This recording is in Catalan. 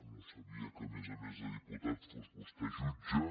no sabia que a més a més de diputat fos vostè jutge